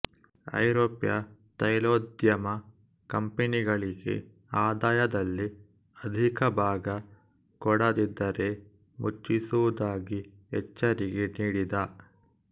ಐರೋಪ್ಯ ತೈಲೋದ್ಯಮ ಕಂಪನಿಗಳಿಗೆ ಆದಾಯದಲ್ಲಿ ಅಧಿಕಭಾಗ ಕೊಡದಿದ್ದರೆ ಮುಚ್ಚಿಸುವುದಾಗಿ ಎಚ್ಚರಿಕೆ ನೀಡಿದ